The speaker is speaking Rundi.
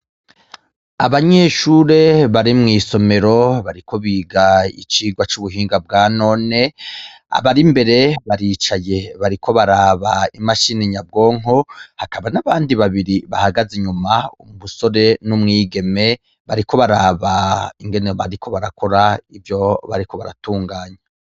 Abanyeshure bari mwisomero bariko biga icigwa c'ubuhinga bwa none abari imbere baricaye bariko baraba imashini nyabwonko hakaba n'abandi babiri bahagaze inyuma umusore n'umwigeme bariko baraba ingene bariko barakora ivyo bariko baratunganya.